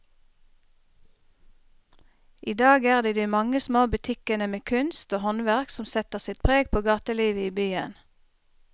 I dag er det de mange små butikkene med kunst og håndverk som setter sitt preg på gatelivet i byen.